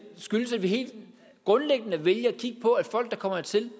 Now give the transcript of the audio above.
skyldes at vi helt grundlæggende vælger at kigge på at folk der kommer hertil